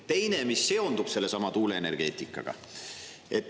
Teine pool seondub sellesama tuuleenergeetikaga.